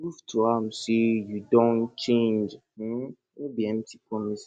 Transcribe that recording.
prove to am sey yu don change um no be empty promises